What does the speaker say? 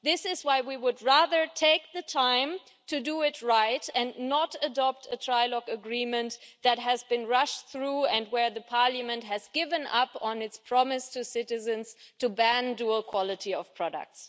This is why we would rather take the time to do it right and not adopt a trilogue agreement that has been rushed through and where Parliament has given up on its promise to citizens to ban dual-quality products.